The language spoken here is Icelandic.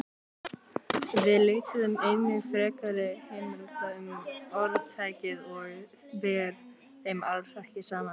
Við leituðum einnig frekari heimilda um orðtækið og ber þeim alls ekki saman.